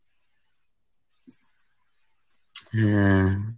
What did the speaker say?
হুম।